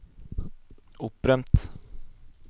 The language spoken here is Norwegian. opprømt